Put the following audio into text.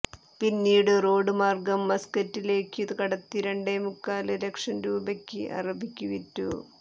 പിന്നീടു റോഡ് മാര്ഗം മസ്കറ്റിലേക്കു കടത്തി രണ്ടേമുക്കാല് ലക്ഷം രൂപയ്ക്ക് അറബിക്കു വിറ്റു